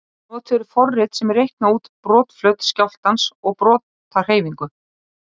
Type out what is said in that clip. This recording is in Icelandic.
Notuð eru forrit sem reikna út brotflöt skjálftans og brotahreyfingu.